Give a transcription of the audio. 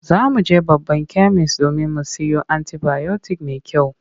Za mu je babban kemis domin mu siyo anti-bayotik mai kyau.